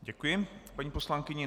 Děkuji paní poslankyni.